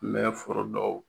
N me forodɔw